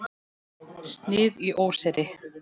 Snið í óseyri.